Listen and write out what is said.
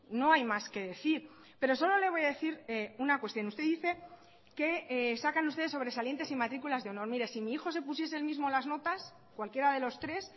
no hay más que decir pero solo le voy a decir una cuestión usted dice que sacan ustedes sobresalientes y matrículas de honor mire si mi hijo se pusiese él mismo las notas cualquiera de los tres